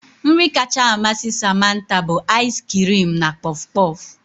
Nri kacha amasị Samantha bụ ais kirim na kpof kpof